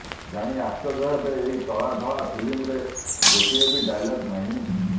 ଜାଣି ଆଶ୍ଚର୍ଯ୍ୟ ହେବେ ଏହି କଳା ଧଳା ଫିଲ୍ମରେ ଗୋଟିଏ ବି ଡାଏଲଗ୍ ନାହିଁ